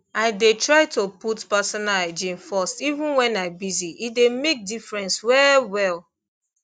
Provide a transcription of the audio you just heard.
i dey try to put personal hygiene first even when i busy e dey make difference well well